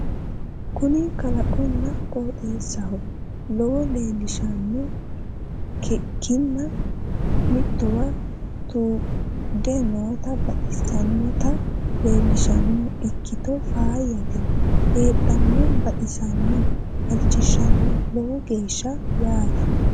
kuni kalaqonna qoxeessaho lowore leellishshanno kinna mittowa tuudde noota baxssannota leellishshanno ikkito faayyte heedhonna baxissanno halchishshanno lowo geeshsha yaate .